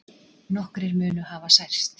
Nokkrir munu hafa særst